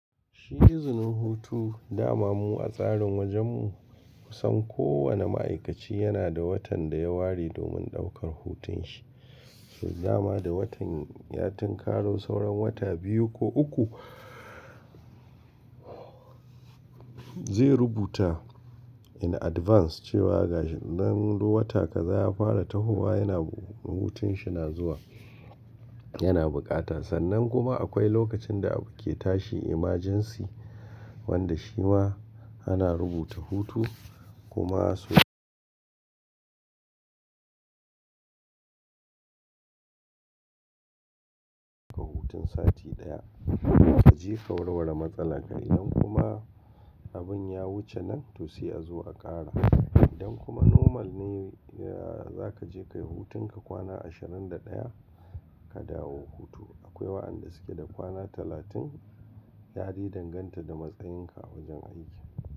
Shi izinin hutu dama mu a tsarin wajen mu. Kusan kowane ma'aikaci yana da watan da ya ware domin ɗaukar hutun shi. To dama da watan, ya tin karo sauran wata biyu ko uku zai rubuta in advance cewa gashi nan to wata kazaya fara tahowa yana hutun shi na zuwa yana bukata. Sannan kuma akwai lokacin da abu ke tashi emergency wanda shi ma ana rubuta hutu kuma su ka hutun sati ɗaya. Ka je ka warware matsalar ka idan kuma abun ya wuce nan to sai a zuwa a ƙara. Idan kuma normal ne ya-za ka je ka yi hutun ka kwana ashirin da ɗaya ka dawo hutu. Akwai waɗanda suke da kwana talatin, yade danganta da matsayin ka a wajen aiki.